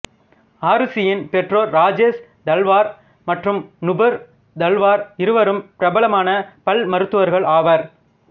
ஆருஷியின் பெற்றோர் ராஜேஷ் தல்வார் மற்றும் நுபுர் தல்வார் இருவரும் பிரபலமான பல் மருத்துவர்கள் ஆவர்